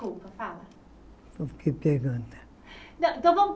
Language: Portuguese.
Então por que pergunta.